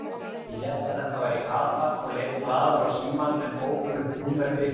Ég hélt að þetta væri Kata og leit glaður á símann en ókunnugt númer blikkaði.